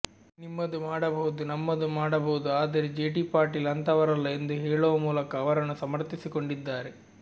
ನಿಮ್ಮದು ಮಾಡಬಹುದು ನಮ್ಮದು ಮಾಡಬಹುದು ಆದರೆ ಜೆಟಿ ಪಾಟೀಲ್ ಅಂಥವರಲ್ಲ ಎಂದು ಹೇಳುವ ಮೂಲಕ ಅವರನ್ನು ಸಮರ್ಥಿಸಿಕೊಂಡಿದ್ದಾರೆ